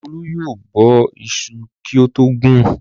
Olú yóò bọ iṣu kí ó tó gun.